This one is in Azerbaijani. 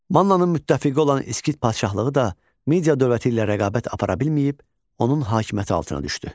Mannanın müttəfiqi olan İskit padşahlığı da Midiya dövləti ilə rəqabət apara bilməyib, onun hakimiyyəti altına düşdü.